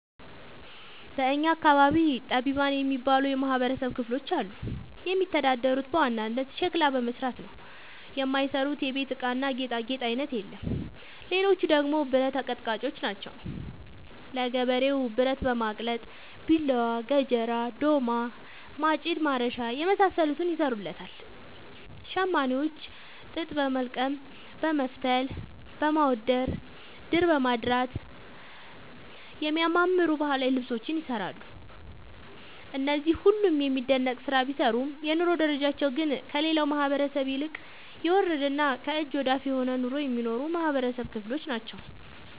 በእኛ አካባቢ ጠቢባን የሚባሉ የማህበረሰብ ክፍሎች አሉ። የሚተዳደሩት በዋናነት ሸክላ በመስራት ነው። የማይሰሩት የቤት እቃና ጌጣጌጥ አይነት የለም ሌቹ ደግሞ ብረት አቀጥቃጭጮች ናቸው። ለገበሬው ብረት በማቅለጥ ቢላዋ፣ ገጀራ፣ ዶማ፣ ማጭድ፣ ማረሻ የመሳሰሉትን ይሰሩለታል። ሸማኔዎች ጥጥ በወልቀም በመፍተል፣ በማዳወር፣ ድር በማድራት የሚያማምሩ ባህላዊ ልብሶችን ይሰራሉ። እነዚህ ሁሉም የሚደነቅ ስራ ቢሰሩም የኑሮ ደረጃቸው ግን ከሌላው ማህበረሰብ ይልቅ የወረደና ከእጅ ወዳፍ የሆነ ኑሮ የሚኖሩ የማህበረሰብ ክሎች ናቸው።